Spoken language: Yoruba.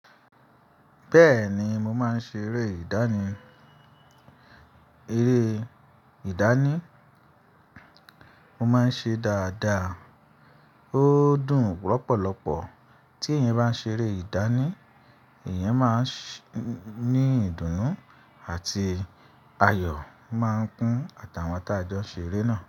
Bẹ́ẹ̀ni, mo máa ń ṣe eré ìdánì. Eré ìdánì, mo máa ń ṣe dáadáa. Ó dùn lọ́pọ̀lọpọ̀ tí èèyàn bá ń ṣe eré ìdánì, èèyàn máa ń ní ìdùnnú àti ayọ̀ máa ń kún àtàwà tá jọ n ṣe eré náà.